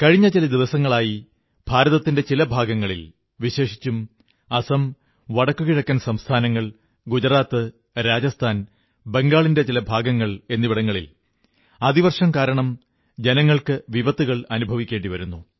കഴിഞ്ഞ ചില ദിവസങ്ങളായി ഭാരതത്തിന്റെ ചില ഭാഗങ്ങളിൽ വിശേഷിച്ചും അസം വടക്കുകിഴക്കൻ സംസ്ഥാനങ്ങൾ ഗുജറാത്ത് രാജസ്ഥാൻ ബംഗാളിന്റെ ചില ഭാഗങ്ങൾ എന്നിവിടങ്ങളിൽ അതിവർഷം കാരണം ജനങ്ങൾക്ക് വിപത്തുകൾ അനുഭവിക്കേണ്ടി വന്നു